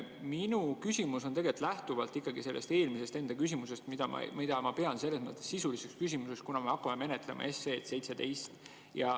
Minu küsimus lähtub tegelikult mu enda eelmisest küsimusest, mida ma pean selles mõttes sisuliseks küsimuseks, kuna me hakkame menetlema seaduseelnõu 17.